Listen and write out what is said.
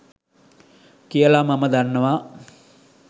කියල මම දන්නවා.